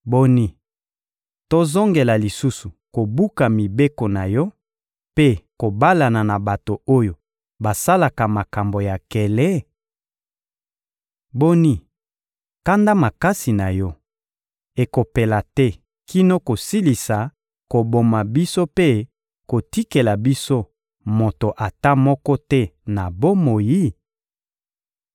Boni, tozongela lisusu kobuka mibeko na Yo mpe kobalana na bato oyo basalaka makambo ya nkele? Boni, kanda makasi na Yo ekopela te kino kosilisa koboma biso mpe kotikela biso moto ata moko te na bomoi?